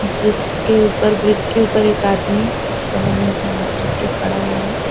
जिसके ऊपर ब्रिज के ऊपर एक आदमी कमर में से हाथ रख के खड़ा हुआ है।